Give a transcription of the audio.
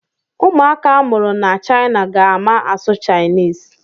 Ụmụaka a mụrụ ná China ga-ama asụ Chinese.